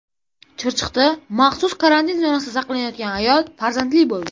Chirchiqda maxsus karantin zonasida saqlanayotgan ayol farzandli bo‘ldi .